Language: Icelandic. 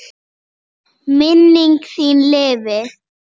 Minning þín lifi.